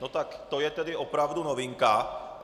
No tak to je tedy opravdu novinka!